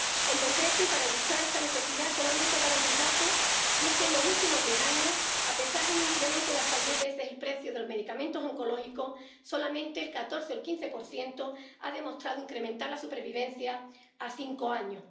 En concreto, y para ilustrar esta necesidad, quisiera solamente dar un dato, y es que en los últimos diez años, a pesar de un incremento de hasta diez veces el precio de los medicamentos oncológicos, solamente el 14 o el 15 de ellos ha demostrado incrementar la supervivencia a cinco años.